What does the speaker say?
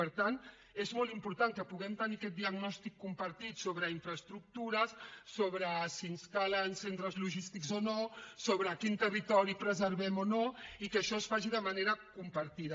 per tant és molt important que puguem tenir aquest diagnòstic compartit sobre infraestructures sobre si ens calen centres logístics o no sobre quin territori preservem o no i que això es faci de manera compartida